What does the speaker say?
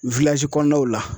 kɔnɔnaw la.